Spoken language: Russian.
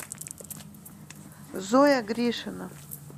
зоя гришина